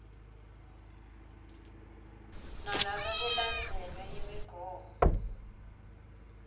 nanobe kulandzelwe imigomo